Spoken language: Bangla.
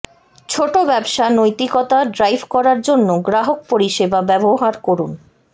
ছোট ব্যবসা নৈতিকতা ড্রাইভ করার জন্য গ্রাহক পরিষেবা ব্যবহার করুন